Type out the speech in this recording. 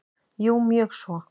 Jú mjög svo.